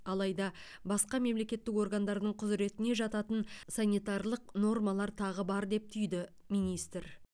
алайда басқа мемлекеттік органдардың құзыретіне жататын санитарлық нормалар тағы бар деп түйді министр